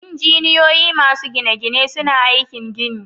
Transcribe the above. Injiniyoyi masu gine-gine suna aikin gini.